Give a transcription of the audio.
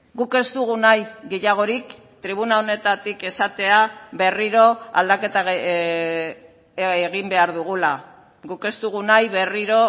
guk ez dugu nahi gehiagorik tribuna honetatik esatea berriro aldaketa egin behar dugula guk ez dugu nahi berriro